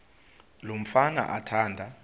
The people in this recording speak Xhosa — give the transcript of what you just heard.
lo mfana athanda